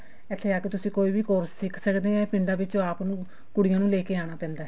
ਇੱਥੇ ਆ ਕੇ ਤੁਸੀਂ ਕੋਈ ਵੀ course ਸਿੱਖ ਸਕਦੇ ਹੋ ਪਿੰਡਾਂ ਵਿੱਚ ਆਪ ਨੂੰ ਕੁੜੀਆਂ ਨੂੰ ਲੈਕੇ ਆਉਣਾ ਪੈਂਦਾ